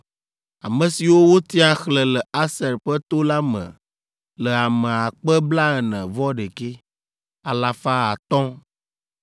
Ame siwo wotia, xlẽ le Aser ƒe to la me le ame akpe blaene-vɔ-ɖekɛ, alafa atɔ̃ (41,500).